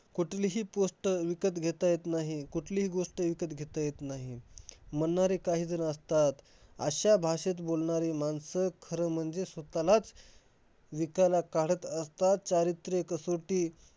कुठलीही post विकत घेता येत नाही. कुठलीही गोष्ट विकत घेता येत नाही. म्हणणारे काही जण असतात. अश्या भाषेत बोलणारी माणसं खरं म्हणजे स्वतःलाच विकायला काढत असतात. चारित्र्य कसोटी